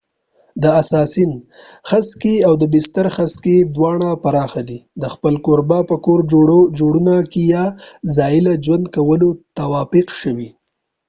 د اساسین خسکې او د بستر خسکې دوانړه پراخه دي د خپل کوربه په کور جوړونه کې یا ځاله کې ژوند کولو تطابق شوي